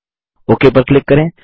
okay पर click करें